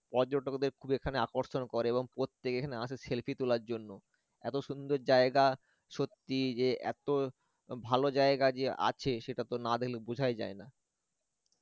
পর্যটকদের খুবই এখানে আকর্ষন করে এবং প্রত্যেকে এখানে আসে selfie তোলার জন্য এত সুন্দর জায়গা সত্যি যে এত ভালো জায়গা যে আছে সেটা তো না দেখলে বোঝাই যায় না